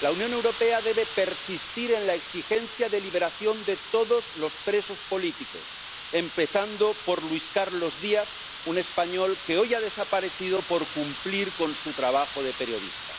La Unión Europea debe persistir en la exigencia de liberación de todos los presos políticos, empezando por Luis Carlos Díaz, un español que ha desaparecido hoy por cumplir con su trabajo de periodista.